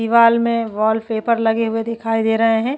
दिवार में वॉलपेपर लगे हुए दिखाई दे रहे है।